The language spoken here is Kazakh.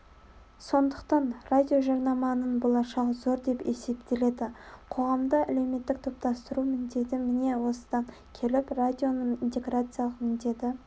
сондықтан радиожарнаманың болашағы зор деп есептеледі қоғамды әлеуметтік топтастыру міндеті міне осыдан келіп радионың интеграциялық міндеті